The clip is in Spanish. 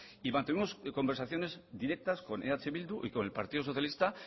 y mantuvimos conversaciones directas con eh bildu y con el partido socialista